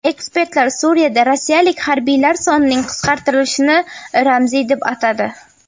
Ekspertlar Suriyada rossiyalik harbiylar sonining qisqartirilishini ramziy deb atadi.